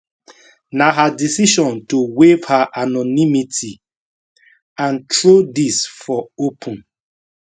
na her decision to waive her anonymity and throw dis for open